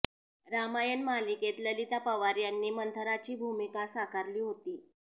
रामायण मालिकेत ललिता पवार यांनी मंथराची भूमिका साकारली होती